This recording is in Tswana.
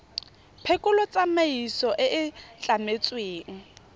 phekolo tsamaiso e e tlametsweng